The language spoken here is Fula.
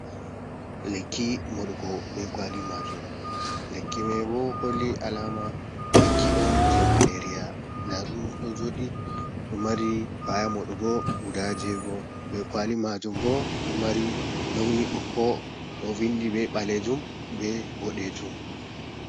Lekki moɗugo be kawali majum. Lekki mai bo holli alama lekki on je malaria. Dadum ɗo jooɗi do mari ka'aya moɗugo guɗa jeego. Be kawali majum bo ɗo mari launi bokko ɗo vindi be balejum be bodejum.